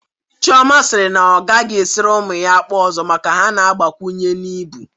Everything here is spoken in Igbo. Chioma siri na ọ a gaghị esiri ụmụ ya akpụ ọzọ maka na ha na-agbakwunye n'ibu